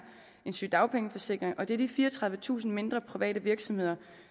en sygedagpengeforsikring og det er disse fireogtredivetusind mindre private virksomheder